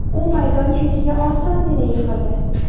U maydon chetiga osongina yiqildi.